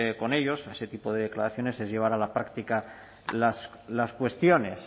con ellos con ese tipo de declaraciones es llevar a la práctica las cuestiones